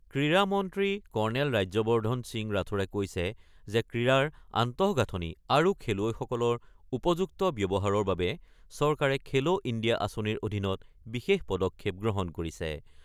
ক্ৰীড়া মন্ত্ৰী কৰ্ণেল ৰাজ্যবৰ্ধন সিং ৰাথোড়ে কৈছে যে, ক্ৰীড়াৰ আন্তঃগাঁথনি আৰু খেলুৱৈসকলৰ উপযুক্ত ব্যৱহাৰৰ বাবে চৰকাৰে খেলো ইণ্ডিয়া আঁচনিৰ অধীনত বিশেষ পদক্ষেপ গ্ৰহণ কৰিছে।